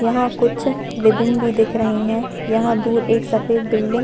यहाँ कुछ रिबिन भी दिख रही है यहाँ दूर एक सफ़ेद बिल्डिंग --